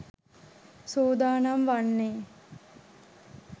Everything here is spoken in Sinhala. සූදානම් වන්නේ.